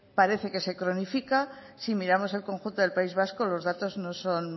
parece que se cronifica si miramos el conjunto del país vasco los datos no son